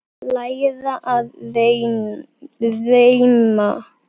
Læra að reima